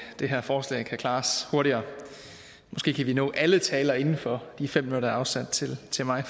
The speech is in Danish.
det her forslag kan klares hurtigere måske kan vi nå alle talere inden for de fem minutter er afsat til til mig